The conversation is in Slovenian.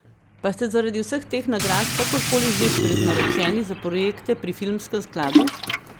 Pa ste zaradi vseh teh nagrad kakor koli že prednaročeni za projekte pri Filmskem skladu?